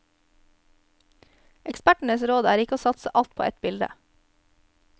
Ekspertenes råd er ikke å satse alt på ett bilde.